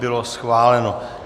Bylo schváleno.